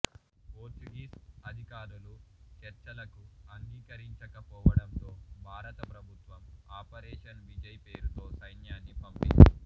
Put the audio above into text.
Portuguese అధికారులు చర్చలకు అంగీకరించకపోవడంతో భారత ప్రభుత్వం ఆపరేషన్ విజయ్ పేరుతో సైన్యాన్ని పంపింది